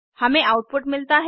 हमें आउटपुट मिलता है